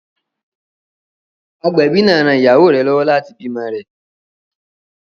Agbẹ̀bí náà ran ìyàwó rẹ lọ́wọ́ láti bímọ rẹ̀.